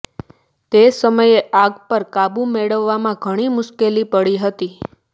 તે સમયે આગ પર કાબૂ મેળવવામાં દ્યણી મુશ્કેલી પડી હતી